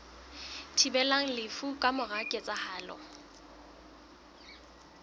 thibelang lefu ka mora ketsahalo